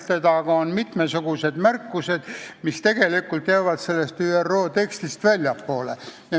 Need on mitmesugused märkused, mis tegelikult jäävad selle ÜRO teksti sisust väljapoole.